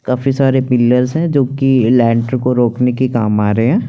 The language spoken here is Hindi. काफी सारे पिल्लर्स हैं जो की लेंत्र को रोकने के लिए काम आ रहे हैं।